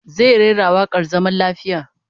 Zai rera wakar zaman lafiya